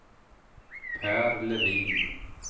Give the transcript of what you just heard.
Pär Levin